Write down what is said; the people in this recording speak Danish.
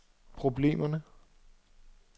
problemerne